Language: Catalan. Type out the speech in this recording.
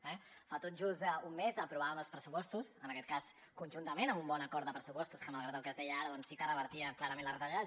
ara fa tot just un mes aprovàvem els pressupostos en aquest cas conjuntament amb un bon acord de pressupostos que malgrat el que es deia ara sí que es revertien clarament les retallades